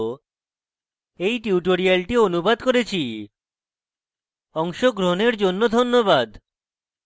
অংশগ্রহনের জন্য ধন্যবাদ